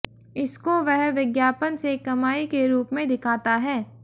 इसको वह विज्ञापन से कमाई के रुप में दिखाता है